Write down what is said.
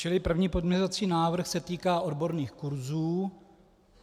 Čili první pozměňovací návrh se týká odborných kurzů.